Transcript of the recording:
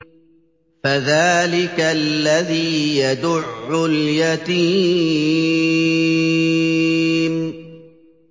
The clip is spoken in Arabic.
فَذَٰلِكَ الَّذِي يَدُعُّ الْيَتِيمَ